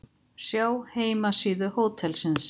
Sjá heimasíðu hótelsins